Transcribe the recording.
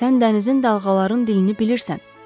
Sən dənizin dalğaların dilini bilirsən.